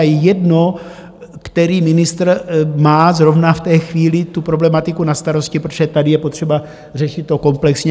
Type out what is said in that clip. A je jedno, který ministr má zrovna v té chvíli tu problematiku na starosti, protože tady je potřeba řešit to komplexně.